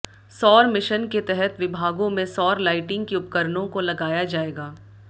सौर मिशन के तहत विभागों में सौर लाइटिंग के उपकरणों को लगाया जाएगा